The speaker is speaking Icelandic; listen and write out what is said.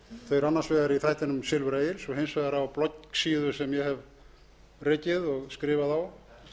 þau eru annars vegar í þættinum silfur egils og hins vegar á bloggsíðu sem ég hef rekið og skrifað á